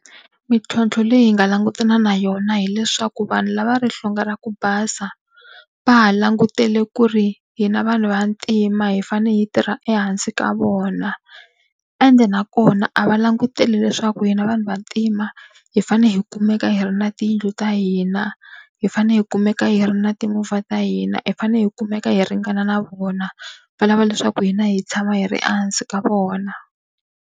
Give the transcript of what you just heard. Mintlhontlho leyi hi nga langutana na yona hileswaku vanhu lava va ri hlonge ra ku basa va ha langutele ku ri hina vanhu vantima hi fanele hi tirha ehansi ka vona, ende nakona a va languteli leswaku hina vanhu vantima hi fanele hi kumeka hi ri na tiyindlu ta hina, hi fanele hi kumeka hi ri na timovha ta hina, hi fanele hi kumeka hi ringana na vona, va lava leswaku hina hi tshama hi ri ehansi ka vona.